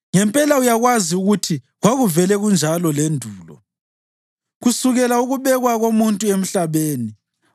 Ngempela uyakwazi ukuthi kwakuvele kunjani lendulo, kusukela ukubekwa komuntu emhlabeni,